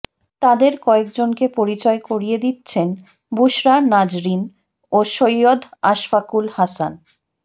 তাঁদের কয়েকজনকে পরিচয় করিয়ে দিচ্ছেন বুশরা নাজরীন ও সৈয়দ আশফাকুল হাসান